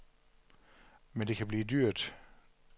Men det kan blive dyrt.